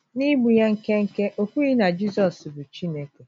N’igbu ya nkenke, o kwughị na Jizọs bụ Chineke .”